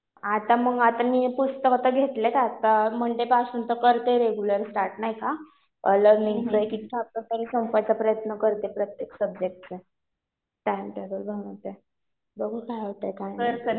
आता मग आता मी पुस्तकं तर घेतलेत. आता मंडे पासून तर करते रेग्युलर स्टार्ट नाही का. एक-एक चॅप्टर पण संपवायचा प्रयत्न करते प्रत्येक सब्जेक्टचा. टाईमटेबल बनवते. बघू काय होते काय नाही.